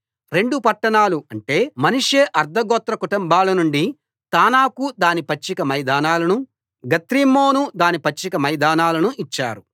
రెండు పట్టణాలు అంటే మనష్షే అర్థగోత్ర కుటుంబాల నుండి తానాకు దాని పచ్చిక మైదానాలనూ గత్రిమ్మోను దాని పచ్చిక మైదానాలనూ ఇచ్చారు